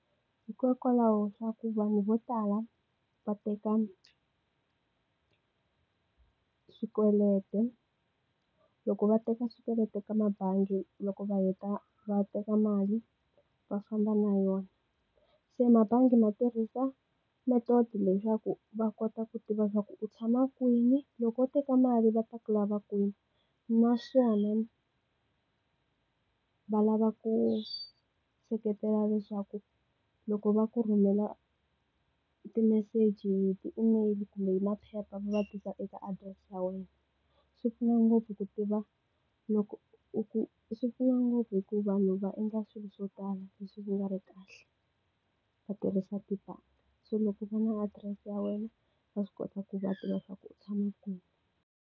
Hikokwalaho swa ku vanhu vo tala va teka swikweleti. Loko va teka swikweleti ka mabangi loko va heta va teka mali, va swi famba na yona. Se mbangi ma tirhisa method-i leswaku va kota ku tiva leswaku u tshama kwini, loko u teka mali va ta ku lava kwini. Naswona, va lava ku seketela leswaku loko va ku rhumela timeseji hi ti-email kumbe maphepha va ma tirhisa eka address ya wena. Swi pfuna ngopfu ku tiva loko u ku swi pfuna ngopfu hikuva vanhu va endla swilo swo tala leswi swi nga ri ki kahle, va tirhisa tibanka. Se loko va ri na adirese ya wena va swi kota ku va tiva leswaku u tshama kwini.